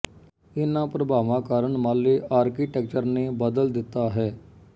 ਇਨ੍ਹਾਂ ਪ੍ਰਭਾਵਾਂ ਕਾਰਨ ਮਾਲੇ ਆਰਕੀਟੈਕਚਰ ਨੇ ਬਦਲ ਦਿੱਤਾ ਹੈ